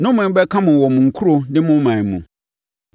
Nnome bɛka mo wɔ mo nkuro ne mo ɔman mu.